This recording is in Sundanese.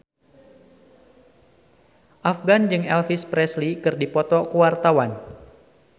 Afgan jeung Elvis Presley keur dipoto ku wartawan